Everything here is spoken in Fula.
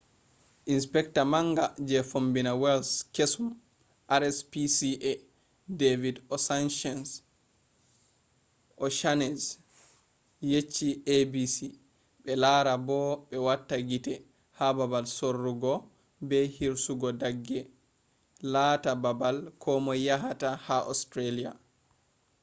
inpecta manga je fombina wales kesum rspca david o'shannessy yecci abc be lara bo be wata gite ha babal sorrugo be hirsugo dagge laata babal komoi yahata ha australia